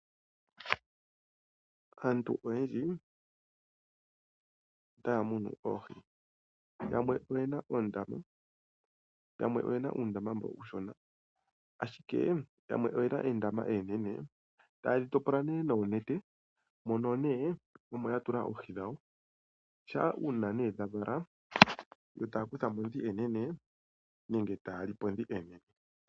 Aantu oyendji otaya munu oohi. Yamwe oye na uundama mbo uushona ashike yamwe oye na oondama oonene, taye dhi topola nuunete, mono omo ya tula oohi dhawo. Shampa uuna dha vala, yo taya kutha mo ndhi oonene taya li po ndhi oonene.